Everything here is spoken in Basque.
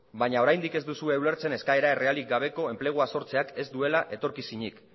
baino oraindik ez duzue ulertzen eskaera errealik gabeko enplegua sortzeak ez duela